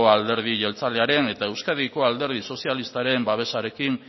alderdi jeltzalearen eta euskadiko alderdi sozialistaren babesarekin